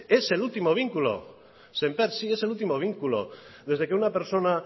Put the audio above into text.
es el último vínculo sémper sí es el último vínculo desde que una persona